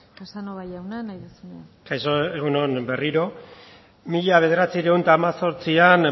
casanova jauna nahi duzuna kaixo egun on berriro mila bederatziehun eta hemezortzian